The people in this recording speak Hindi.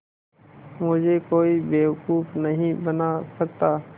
मुझे कोई बेवकूफ़ नहीं बना सकता